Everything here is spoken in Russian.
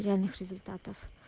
реальных результатов